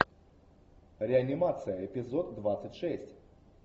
реанимация эпизод двадцать шесть